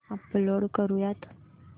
upload करुयात